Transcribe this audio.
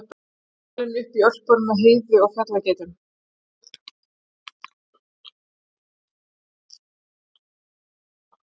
Alinn upp í Ölpunum með Heiðu og fjallageitunum?